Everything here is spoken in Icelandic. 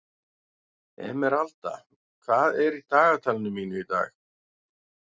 Emeralda, hvað er í dagatalinu mínu í dag?